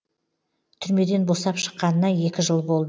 түрмеден босап шыққанына екі жыл болды